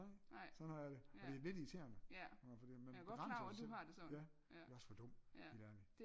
Nej sådan har jeg det og det er lidt irriterende fordi man begrænser jo sig selv ja det er jo også for dumt helt ærligt